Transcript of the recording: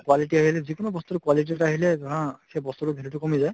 quality আহিলে যিকোনো বস্তুৰ quality ত আহিলে ধৰা সেই বস্তুতোৰ value তো কমি যায়